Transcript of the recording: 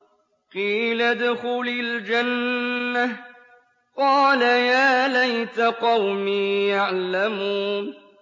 قِيلَ ادْخُلِ الْجَنَّةَ ۖ قَالَ يَا لَيْتَ قَوْمِي يَعْلَمُونَ